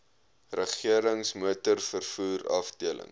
regerings motorvervoer afdeling